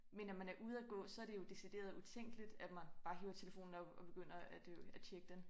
Men når man er ude at gå så det jo decideret utænkeligt at man bare hiver telfonen op og begynder at øh at tjekke den